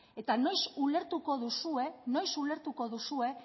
eta noiz ulertuko duzue noiz ulertuko duzue